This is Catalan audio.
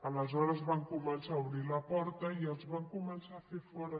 aleshores van començar a obrir la porta i els van començar a fer fora